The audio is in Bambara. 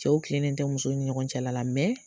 Cɛw tilennen tɛ musow ni ɲɔgɔn cɛla la